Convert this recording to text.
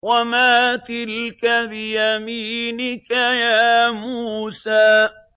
وَمَا تِلْكَ بِيَمِينِكَ يَا مُوسَىٰ